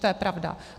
To je pravda.